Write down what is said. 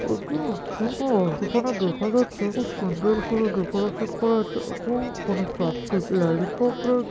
এটি একটি যেখানে দেখা যাচ্ছে খুব সুন্দর করে ডেকোরেশন করা আছে এবং এখানে চারটি লালিপপ রয়ে--